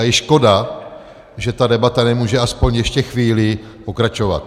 A je škoda, že ta debata nemůže aspoň ještě chvíli pokračovat.